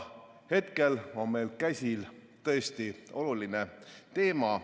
Hetkel on meil käsil tõesti oluline teema.